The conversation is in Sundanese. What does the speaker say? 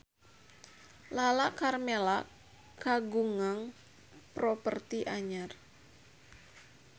Lala Karmela kagungan properti anyar